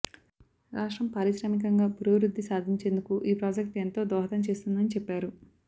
రాష్ట్రం పారిశ్రామికంగా పురోభివృద్ధి సాధించేందుకు ఈ ప్రాజెక్టు ఎంతో దోహదం చేస్తుందని చెప్పారు